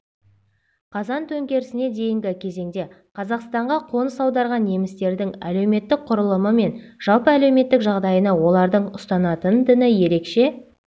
қазан төңкерісіне дейінгі кезеңде қазақстанға қоныс аударған немістердің әлеуметтік құрылымы мен жалпы әлеуметтік жағдайына олардың ұстанатын діні ерекше